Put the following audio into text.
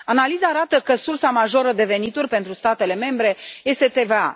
Analiza arată că sursa majoră de venituri pentru statele membre este TVA.